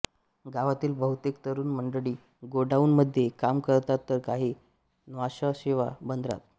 गावातील बहुतेक तरुण मंडळी गोडाऊनमध्ये काम करतात तर काही न्हावाशेवा बंदरात